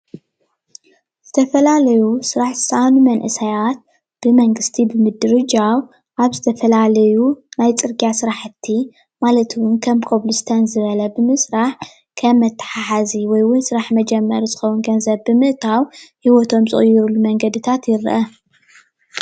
ዝተፈላለዩ ዝራሕ ዝሰኣኑ መንእሰያት ብመንግስቲ ብምድርጃዉ ኣብ ዝተፈላለዩ ናይ ፅርግያ ስርሕቲ ማለት እዉን ከም ኮብልስቶን ዝበለ ብምስራሕ ከም መተሓሓዚ ወይ እዉን ስራሕ መጀመሪ ዝከዉን ገንዘብ ብምእታዉ ሂወቶም ዝቅይርሉ መንገድታት ይርአ።